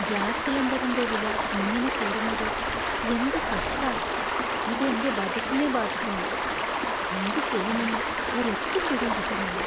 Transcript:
Gas സിലിണ്ടറിന്‍റെ വില ഇങ്ങനെ കൂടുന്നത് എന്ത് കഷ്ടാ. ഇത് എന്‍റെ ബജറ്റിനെ ബാധിക്കുന്നു, എന്ത് ചെയ്യുമെന്ന് ഒരെത്തും പിടീം കിട്ടുന്നില്ല.